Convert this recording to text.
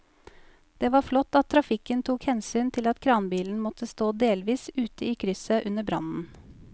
Det var flott at trafikken tok hensyn til at kranbilen måtte stå delvis ute i krysset under brannen.